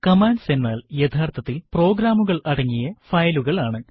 commands എന്നാൽ യഥാർത്ഥത്തിൽ പ്രോഗ്രാമുകൾ അടങ്ങിയ ഫയലുകൾ ആണ്